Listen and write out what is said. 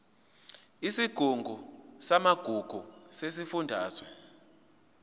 isigungu samagugu sesifundazwe